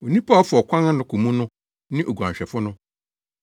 Onipa a ɔfa ɔkwan ano kɔ mu no ne oguanhwɛfo no.